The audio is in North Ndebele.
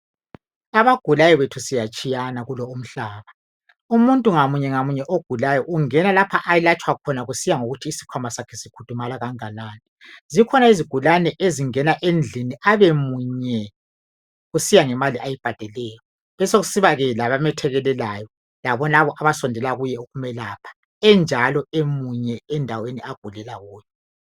Abagulayo bethu siyatshiyana kulumhlaba umuntu ngamunye ngamunye ogulayo ungena lapho eletshwa khona kusiya ngokuthi isikhwama sakhe sikhudumala kanganani, zikhona izigulane ezingena. endlini abemunye kusiya ngemali ayibhadeleyo besekusibakhona abamethekelelayo labonabo abasondela kuye ukumelapha enjalo eminye endaweni agulela kuyo.